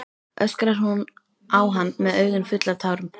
öskrar hún á hann með augun full af tárum.